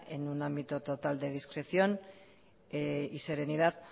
en un ámbito total de discreción y serenidad